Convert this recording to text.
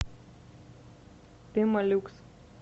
пемолюкс